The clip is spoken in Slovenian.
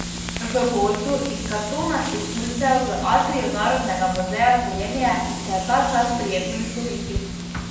V gozdu iz kartonastih tulcev v atriju Narodnega muzeja Slovenije se je ta čas prijetno izgubiti.